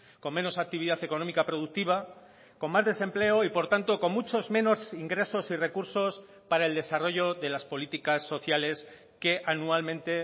con menos actividad económica productiva con más desempleo y por tanto con muchos menos ingresos y recursos para el desarrollo de las políticas sociales que anualmente